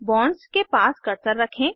bonds के पास cursor रखें